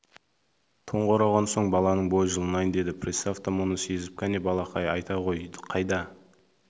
тонға ораған соң баланың бойы жылынайын деді пристав та мұны сезіп кәне балақай айта ғой қайда